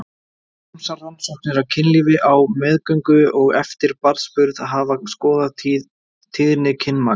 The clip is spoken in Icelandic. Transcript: Ýmsar rannsóknir á kynlífi á meðgöngu og eftir barnsburð hafa skoðað tíðni kynmaka.